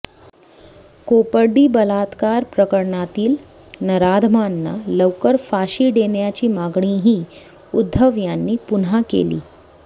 कोपर्डी बलात्कार प्रकरणातील नराधमांना लवकर फाशी देण्याची मागणीही उद्धव यांनी पुन्हा केली